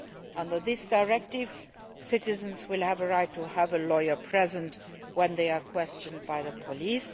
Under this directive, citizens will have a right to have a lawyer present when they are questioned by the police.